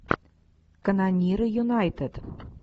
канониры юнайтед